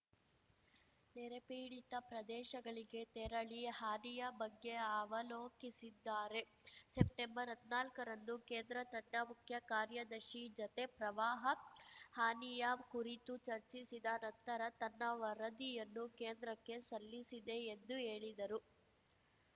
ನೆರೆಪೀಡಿತ ಪ್ರದೇಶಗಳಿಗೆ ತೆರಳಿ ಹಾನಿಯ ಬಗ್ಗೆ ಅವಲೋಕಿಸಿದ್ದಾರೆ ಸೆಪ್ಟೆಂಬರ್ಹದ್ನಾಲ್ಕರಂದು ಕೇಂದ್ರ ತಂಡ ಮುಖ್ಯ ಕಾರ್ಯದರ್ಶಿ ಜತೆ ಪ್ರವಾಹ ಹಾನಿಯ ಕುರಿತು ಚರ್ಚಿಸಿದ ನಂತರ ತನ್ನ ವರದಿಯನ್ನು ಕೇಂದ್ರಕ್ಕೆ ಸಲ್ಲಿಸಿದೆ ಎಂದು ಹೇಳಿದರು